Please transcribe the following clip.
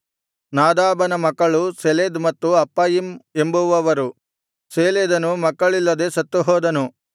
ನಾದಾಬನ ಮಕ್ಕಳು ಸೆಲೆದ್ ಮತ್ತು ಅಪ್ಪಯಿಮ್ ಎಂಬುವವರು ಸೇಲೆದನು ಮಕ್ಕಳಿಲ್ಲದೆ ಸತ್ತುಹೋದನು